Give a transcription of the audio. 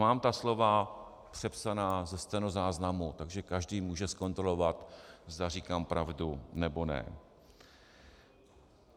Mám ta slova přepsaná ze stenozáznamu, takže každý může zkontrolovat, zda říkám pravdu, nebo ne.